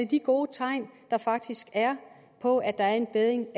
de gode tegn der faktisk er på at der er en bedring